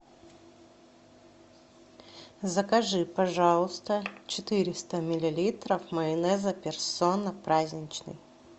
закажи пожалуйста четыреста миллилитров майонеза персона праздничный